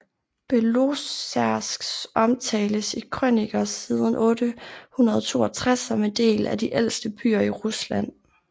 Belozersk omtales i krøniker siden 862 som en af de ældste byer i Rusland